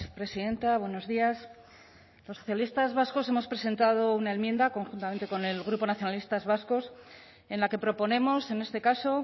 presidenta buenos días los socialistas vascos hemos presentado una enmienda conjuntamente con el grupo nacionalistas vascos en la que proponemos en este caso